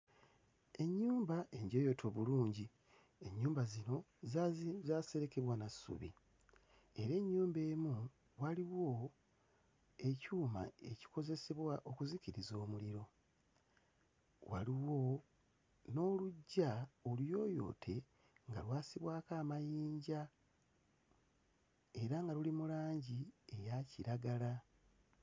Ennyumba enjooyoote obulungi ennyumba zino zaazi zaaserekebwa na ssubi era ennyumba emu waliwo ekyuma ekikozesebwa okuzikiriza omuliro. Waliwo n'oluggya oluyooyoote nga lwasibwako amayinja era nga luli mu langi eya kiragala.